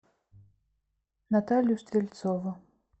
наталью стрельцову